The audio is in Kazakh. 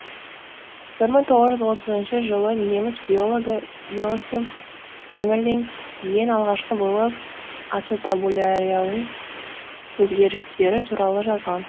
бір мың тоғыз жүз отызыншы жылы неміс биологі иоахим геммерлинг ең алғашқы болып ацетабулярияның өзгерістері туралы жазған